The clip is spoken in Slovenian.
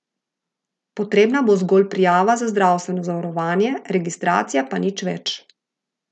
Potrebna bo zgolj prijava za zdravstveno zavarovanje, registracija pa nič več.